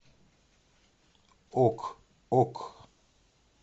ок ок